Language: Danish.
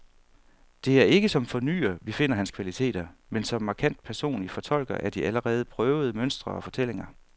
Det er ikke som fornyer, vi finder hans kvaliteter, men som markant personlig fortolker af de allerede prøvede mønstre og fortællinger.